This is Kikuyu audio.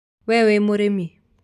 Wee wĩ mũrĩmi?